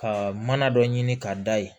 Ka mana dɔ ɲini ka da yen